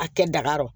A kɛ daga yɔrɔ